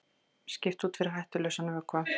Skipt út fyrir hættulausan vökva